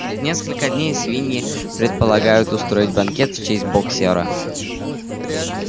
через несколько дней свиньи предполагают устроить банкет в честь боксёра